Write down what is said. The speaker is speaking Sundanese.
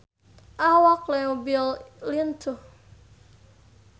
Awak Leo Bill lintuh